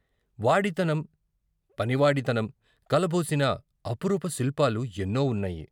వాడితనం, పనివాడితనం కలబోసిన అపురూప శిల్పాలు ఎన్నో వున్నాయి.